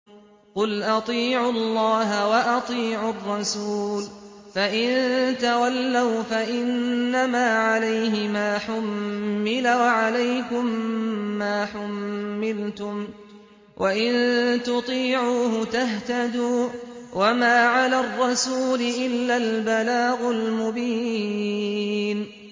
قُلْ أَطِيعُوا اللَّهَ وَأَطِيعُوا الرَّسُولَ ۖ فَإِن تَوَلَّوْا فَإِنَّمَا عَلَيْهِ مَا حُمِّلَ وَعَلَيْكُم مَّا حُمِّلْتُمْ ۖ وَإِن تُطِيعُوهُ تَهْتَدُوا ۚ وَمَا عَلَى الرَّسُولِ إِلَّا الْبَلَاغُ الْمُبِينُ